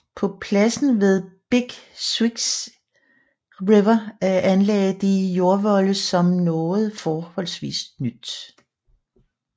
På pladsen ved Big Sioux River anlagde de jordvolde som noget forholdsvis nyt